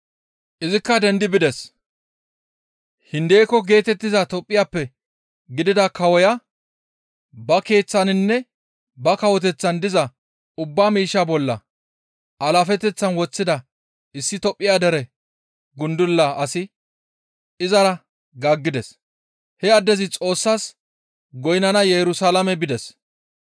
Izikka dendi bides; Hindeko geetettiza Tophphiyappe gidida kawoya ba keeththaninne ba kawoteththan diza ubba miishshaa bolla alaafeteththan woththida issi Tophphiya dere gundula asi izara gaaggides; he addezi Xoossas goynnana Yerusalaame bides.